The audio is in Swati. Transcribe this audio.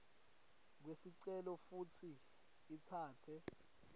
kwesicelo futsi itsatse